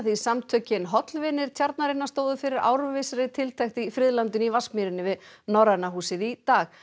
samtökin hollvinir tjarnarinnar stóðu fyrir árvissri tiltekt á friðlandinu í Vatnsmýrinni við Norræna húsið í dag